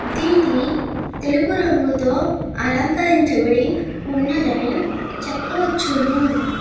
తెలుపు రంగుతొ అలంకారరించి బడి ఉన్నదని చెప్పవచ్చును.